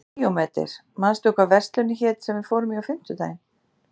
Díómedes, manstu hvað verslunin hét sem við fórum í á fimmtudaginn?